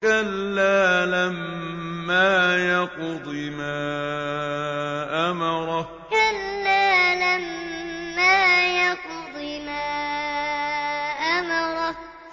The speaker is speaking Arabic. كَلَّا لَمَّا يَقْضِ مَا أَمَرَهُ كَلَّا لَمَّا يَقْضِ مَا أَمَرَهُ